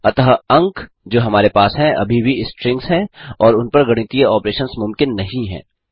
अतः अंक जो हमारे पास हैं अभी भी स्ट्रिंग्स हैं और इनपर गणितीय ऑपरेशंस मुमकिन नहीं हैं